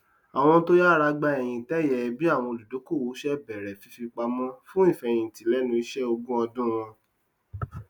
àwọn to yára gba ẹyin ìtẹẹyẹ bí àwọn olùdókòwò ṣe bẹrẹ fífipamọ fún ìfẹhìntì lẹnu iṣẹ ní ogún ọdún wọn